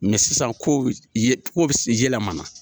Mɛ sisan ko ye low yɛlɛma na